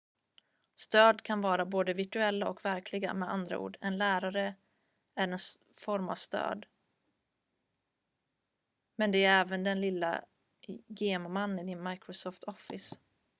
stöd kan vara både virtuella och verkliga med andra ord en lärare är en form av stöd men det är även den lilla gem-mannen i microsoft office